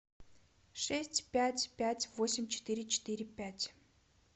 шесть пять пять восемь четыре четыре пять